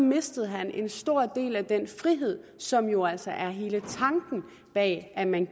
mistede han en stor del af den frihed som jo altså er hele tanken bag at man